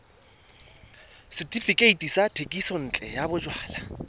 setefikeiti sa thekisontle ya bojalwa